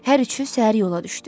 Hər üçü səhər yola düşdü.